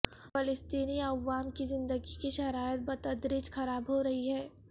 فلسطینی عوام کی زندگی کی شرائط بتدریج خراب ہو رہی ہیں